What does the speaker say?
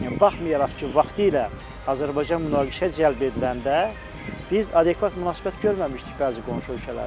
Baxmayaraq ki, vaxtilə Azərbaycan münaqişəyə cəlb ediləndə biz adekvat münasibət görməmişdik bəzi qonşu ölkələrdən.